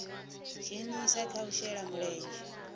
dzhenisa kha u shela mulenzhe